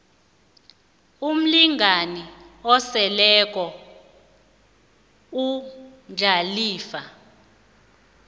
umlingani oseleko umdlalifa